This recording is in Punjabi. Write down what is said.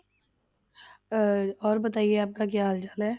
ਅਹ ਔਰ ਹਾਲ ਚਾਲ ਹੈ?